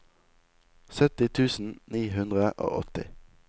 sytti tusen ni hundre og åtti